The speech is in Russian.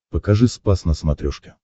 покажи спас на смотрешке